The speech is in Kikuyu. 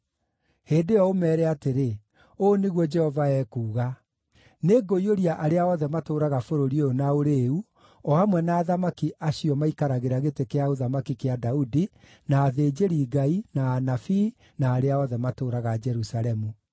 Hĩndĩ ĩyo ũmeere atĩrĩ, ‘Ũũ nĩguo Jehova ekuuga: Nĩngũiyũria arĩa othe matũũraga bũrũri ũyũ na ũrĩĩu, o hamwe na athamaki acio maikaragĩra gĩtĩ kĩa ũthamaki kĩa Daudi, na athĩnjĩri-Ngai, na anabii, na arĩa othe matũũraga Jerusalemu.